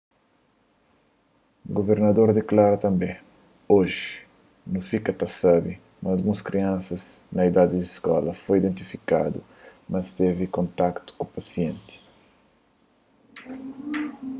guvernador diklara tanbê oji nu fika ta sabe ma alguns kriansas na idadi di skola foi identifikadu ma es tevi kontaktu ku pasienti